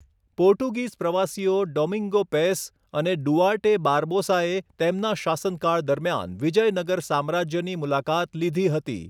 Portuguese પ્રવાસીઓ Domingo Paes અને Duarte બાર્બોસાએ તેમના શાસનકાળ દરમિયાન વિજયનગર સામ્રાજ્યની મુલાકાત લીધી હતી.